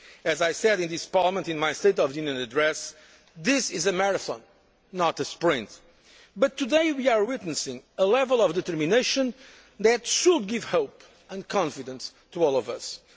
in a day. As I said in this Parliament in my State of the Union address, this is a marathon, not a sprint. But today we are witnessing a level of determination that should give hope and confidence